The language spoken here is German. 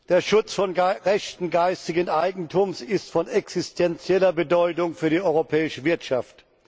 Der Schutz von Rechten geistigen Eigentums ist von existenzieller Bedeutung für die europäische Wirtschaft.